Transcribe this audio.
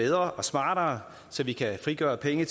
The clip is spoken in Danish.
bedre og smartere så vi kan frigøre penge